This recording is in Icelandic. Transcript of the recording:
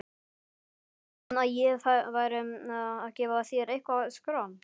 Hélstu að ég færi að gefa þér eitthvert skran?